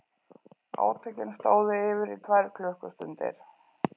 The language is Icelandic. Átökin stóðu yfir í tvær klukkustundir